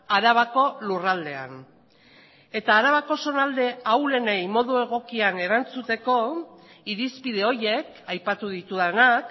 arabako lurraldean eta arabako zonalde ahulenei modu egokian erantzuteko irizpide horiek aipatu ditudanak